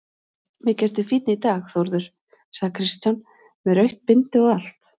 Mikið ertu fínn í dag Þórður, sagði Kristján, með rautt bindi og allt.